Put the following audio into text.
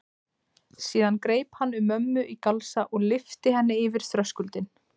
Síðan greip hann um mömmu í galsa og lyfti henni yfir þröskuldinn.